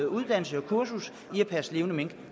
uddannelse og kursus i at passe levende mink